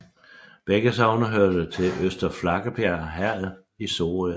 Begge sogne hørte til Øster Flakkebjerg Herred i Sorø Amt